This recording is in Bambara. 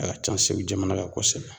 A ka ca segu jamana kan kosɛbɛ.